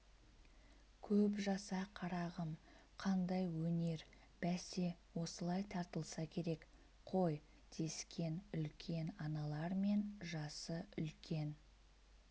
көп жаса қарағым қандай өнер бәсе осылай тартылса керек қой дескен үлкен аналар мен жасы үлкен